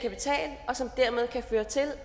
og som dermed kan føre til at